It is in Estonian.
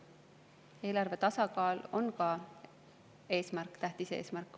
Eelarve tasakaalu on ka vaja hoida, see on tähtis eesmärk.